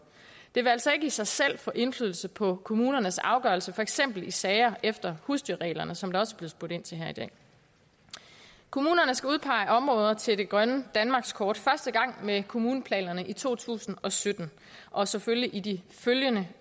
det vil altså ikke i sig selv få indflydelse på kommunernes afgørelse for eksempel i sager efter husdyrreglerne som der også er blevet spurgt ind til her i dag kommunerne skal udpege områder til det grønne danmarkskort første gang med kommuneplanerne i to tusind og sytten og selvfølgelig i de følgende